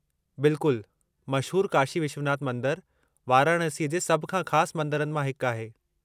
बिल्कुलु। मशहूरु काशी विश्वनाथ मंदरु वाराणसीअ जे सभ खां ख़ासि मंदरनि मां हिकु आहे।